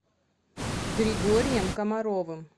григорием комаровым